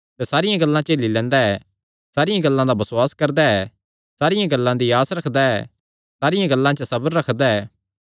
सैह़ सारियां गल्लां झेली लैंदा ऐ सारियां गल्लां दा बसुआस करदा ऐ सारियां गल्लां दी आस रखदा ऐ सारियां गल्लां च सबर रखदा ऐ